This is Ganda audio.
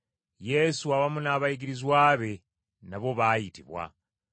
Yesu awamu n’abayigirizwa be nabo baayitibwa.